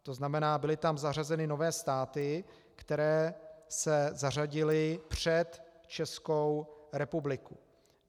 To znamená, byly tam zařazeny nové státy, které se zařadily před Českou republiku.